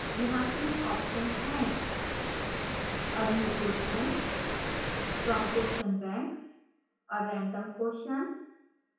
यहाँ 3 options हैं: